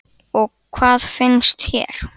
Eva: Og hvað finnst þér?